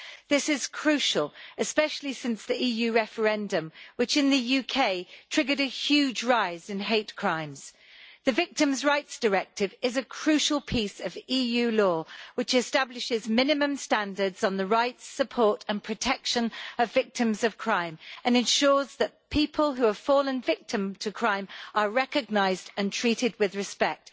This is crucial, especially since the UK's EU referendum, which triggered a huge rise in hate crimes. The Victims' Rights Directive is a crucial piece of EU law which establishes minimum standards on the rights, support and protection of victims of crime and ensures that people who have fallen victim to crime are recognised and treated with respect.